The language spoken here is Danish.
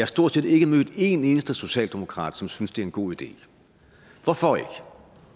stort set ikke mødt en eneste socialdemokrat som synes det er en god idé hvorfor ikke